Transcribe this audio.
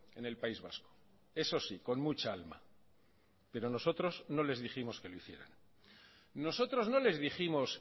en el país vasco eso sí con mucha alma pero nosotros nos les dijimos que lo hicieran nosotros no les dijimos